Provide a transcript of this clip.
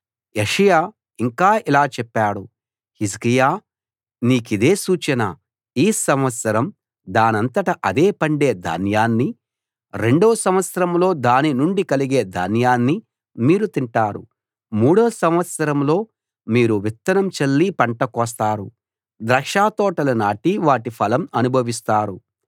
యెషయా ఇంకా ఇలా చెప్పాడు హిజ్కియా నీకిదే సూచన ఈ సంవత్సరం దానంతట అదే పండే ధాన్యాన్నీ రెండో సంవత్సరంలో దాని నుండి కలిగే ధాన్యాన్నీ మీరు తింటారు మూడో సంవత్సరంలో మీరు విత్తనం చల్లి పంట కోస్తారు ద్రాక్షతోటలు నాటి వాటిఫలం అనుభవిస్తారు